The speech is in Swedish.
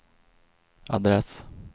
adress